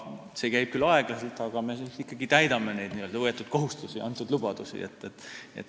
See käib küll aeglaselt, aga täidame siiski endale võetud kohustusi ja antud lubadusi.